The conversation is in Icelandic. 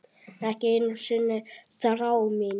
Ekki einu sinni þrá mín.